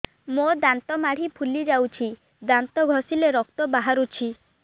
ମୋ ଦାନ୍ତ ମାଢି ଫୁଲି ଯାଉଛି ଦାନ୍ତ ଘଷିଲେ ରକ୍ତ ବାହାରୁଛି